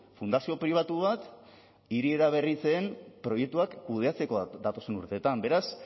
fundazio pribatu bat hiri eraberritze den proiektuak kudeatzeko bat datozen urteetan beraz